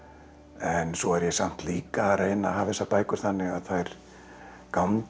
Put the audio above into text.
en svo er ég samt líka að reyna að hafa þessar bækur þannig að þær gangi